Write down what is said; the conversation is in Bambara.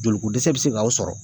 Joliko dɛsɛ bɛ se k'aw sɔrɔ